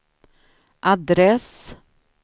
adress